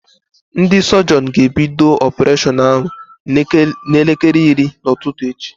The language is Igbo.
Ndị sọjịọn ga-ebido ọpureshọn ahụ n'elekere iri nke ụtụtụ echi.